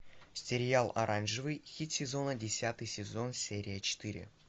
сериал оранжевый хит сезона десятый сезон серия четыре